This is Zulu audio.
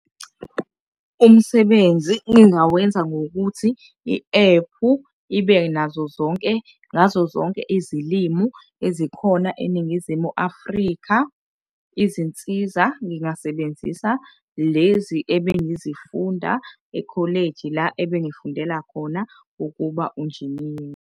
Umsebenzi ngingawenza ngokuthi i-ephu ibe nazo zonke, ngazo zonke izilimi ezikhona eNingizimu Afrika. Izinsiza ngingasebenzisa lezi ebengizifunda ekholeji la ebengifundela khona ukuba unjiniyela.